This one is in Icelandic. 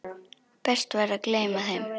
Best væri að gleyma þeim.